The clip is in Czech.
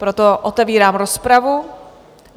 Proto otevírám rozpravu.